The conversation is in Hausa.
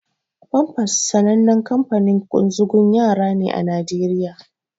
Pampers sanannen kanfanin ƙunzugun yara ne a Naijeriya.